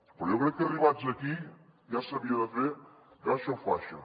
però jo crec que arribats aquí ja s’havia de fer caixa o faixa